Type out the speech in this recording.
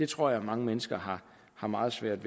tror jeg mange mennesker har meget svært